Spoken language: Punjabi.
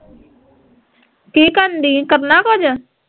ਕੀ ਕਰਨ ਡਈ ਐ ਕਰਨਾ ਕੁਜ